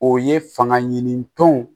O ye fanga ɲini tɔn